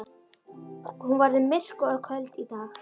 Hún verður myrk og köld í dag.